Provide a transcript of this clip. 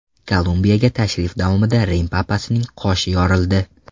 Kolumbiyaga tashrif davomida Rim papasining qoshi yorildi.